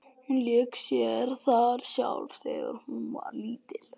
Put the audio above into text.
Hún lék sér þar sjálf þegar hún var lítil.